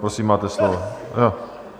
Prosím, máte slovo.